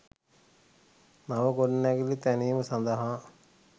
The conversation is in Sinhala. නව ගොඩනැගිලි තැනීම සඳහා